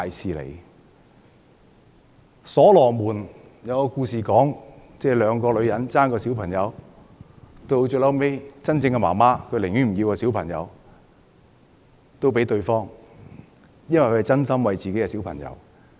在所羅門的故事中，兩個女人爭奪一個孩子，孩子的母親最終寧願放棄孩子讓給對方，原因是她是真心為自己的孩子。